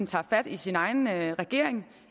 tage fat i sin egen regering